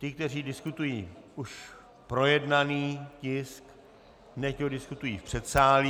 Ti, kteří diskutují už projednaný tisk, nechť ho diskutují v předsálí.